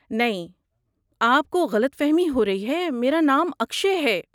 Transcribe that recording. نہیں، آپ کو غلط فہمی ہو رہی ہے، میرا نام اکشئے ہے۔